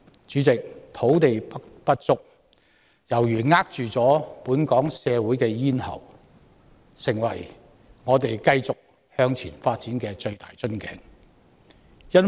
主席，土地不足猶如扼住本港社會的咽喉，已成為我們繼續向前發展的最大瓶頸。